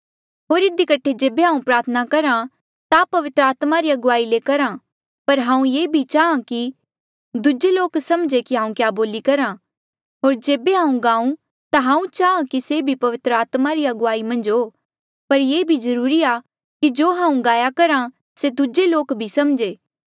होर इधी कठे जेबे हांऊँ प्रार्थना करहा ता पवित्र आत्मा री अगुवाई ले करहा पर हांऊँ ये भी चाहां की दूजे लोक समझे कि हांऊँ क्या बोली करहा होर जेबे हांऊँ गाऊँ ता हांऊँ चाहां की से भी पवित्र आत्मा री अगुवाई मन्झ हो पर ये भी जरूरी आ कि जो हांऊँ गाया करहा से दूजे लोक भी समझे